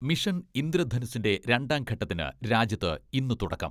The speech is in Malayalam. മിഷൻ ഇന്ദ്രധനുസിന്റെ രണ്ടാം ഘട്ടത്തിന് രാജ്യത്ത് ഇന്ന് തുടക്കം.